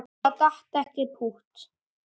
Það datt ekkert pútt.